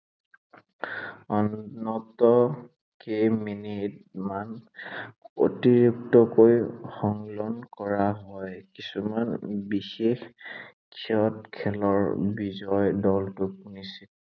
অন্তত কেইমিনিটত মান অতিৰিক্তকৈ সংলগ্ন কৰা হয়। কিছুমান বিশেষ ক্ষেত্ৰত খেলৰ বিজয়ী দলটোক নিশ্চিত